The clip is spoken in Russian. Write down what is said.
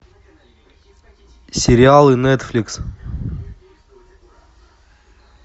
сериалы нетфликс